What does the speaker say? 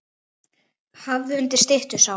Hafður undir styttu sá.